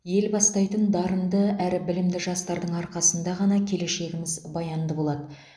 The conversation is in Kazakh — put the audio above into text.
ел бастайтын дарынды әрі білімді жастардың арқасында ғана келешегіміз баянды болады